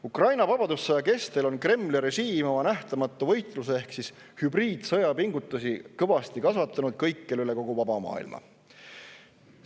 Ukraina vabadussõja kestel on Kremli režiim oma nähtamatu võitluse ehk hübriidsõja pingutusi kõikjal üle kogu vaba maailma kõvasti kasvatanud.